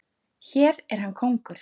Hér er hann kóngur.